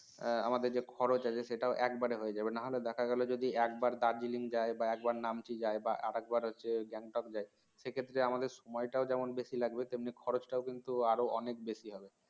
আমাদের যে খরচ আছে সেটাও একবারে হয়ে যাবে না হলে দেখা গেল যদি একবার darjeeling যাই বা একবার Namchi যাই বা আরেকবার হচ্ছে Gangtok যাই সেক্ষেত্রে আমাদের সময়টা যেমন বেশি লাগবে তেমনি খরচটাও কিন্তু আরও অনেক বেশি হবে